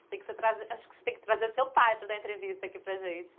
Você tem que se trazer, acho que você tem que trazer seu pai para dar entrevista aqui para a gente.